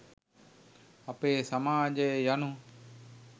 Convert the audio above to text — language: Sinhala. අපේ සමාජය යනු